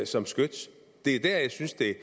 som skyts det er der jeg synes det